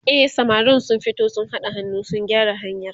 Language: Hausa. e samarin sun fito sun haɗa hannu sun gyara hanyar